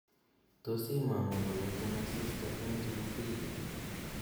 tos imong'u komiten asista en jumapili ii